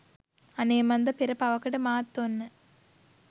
අනේ මන්ද පෙර පවකට මාත් ඔන්න